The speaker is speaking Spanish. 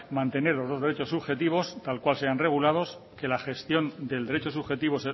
mantener los dos derechos subjetivos tal cual se hayan regulados que la gestión del derecho subjetivo